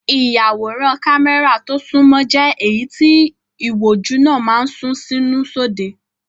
Ìyàwòrán kámẹ́rà tó sunmọ́ jẹ́ èyí tí ìwòjú náà máa ń sún sínú sóde.